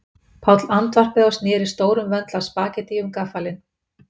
Páll andvarpaði og sneri stórum vöndli af spaghettíi um gaffalinn